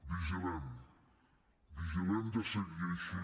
vigilem vigilem de seguir així